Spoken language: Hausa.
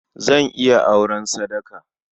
Zan iya auren sadaka.